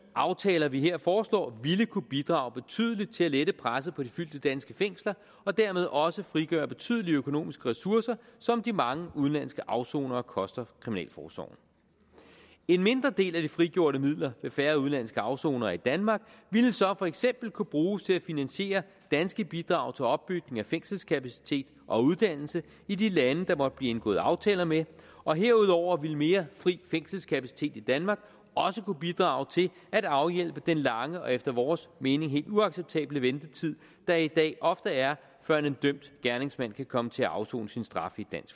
aftaler vi her foreslår ville kunne bidrage betydeligt til at lette presset på de fyldte danske fængsler og dermed også frigøre betydelige økonomiske ressourcer som de mange udenlandske afsonere koster kriminalforsorgen en mindre del af de frigjorte midler ved færre udenlandske afsonere i danmark ville så for eksempel kunne bruges til at finansiere danske bidrag til opbygning af fængselskapacitet og uddannelse i de lande der måtte blive indgået aftaler med og herudover ville mere fri fængselskapacitet i danmark også kunne bidrage til at afhjælpe den lange og efter vores mening helt uacceptable ventetid der i dag ofte er før en dømt gerningsmand kan komme til at afsone sin straf i